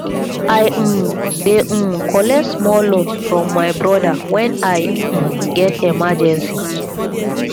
i um dey um collect small loan from my broda wen i um get emergency